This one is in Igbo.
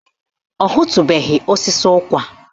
Ọ hụtubeghi osisi ụkwa